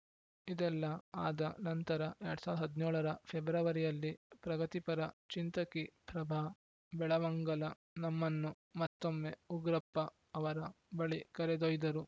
ಇದೆಲ್ಲ ಆದ ನಂತರ ಎರಡ್ ಸಾವಿರದ ಹದಿನೇಳರ ಫೆಬ್ರವರಿಯಲ್ಲಿ ಪ್ರಗತಿಪರ ಚಿಂತಕಿ ಪ್ರಭಾ ಬೆಳವಂಗಲ ನಮ್ಮನ್ನು ಮತ್ತೊಮ್ಮೆ ಉಗ್ರಪ್ಪ ಅವರ ಬಳಿ ಕರೆದೊಯ್ದರು